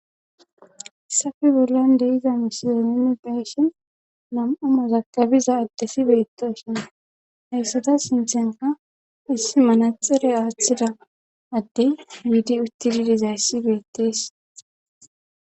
haysafi bollan deiza misizeneni peeshen nam7a mozakabiza addesi beetoosona hayssada sinthenka issi manaxere aaththida adde wiidi uttididizayssi beettees